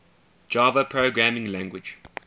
java programming language